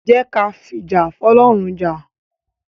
Jẹ́ ki a fìjà f'ọ́lọ́run jà.